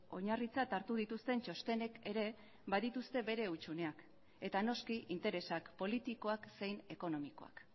oinarritzat hartu dituzten txostenek ere badituzte bere hutsuneak eta noski interesak politikoak zein ekonomikoak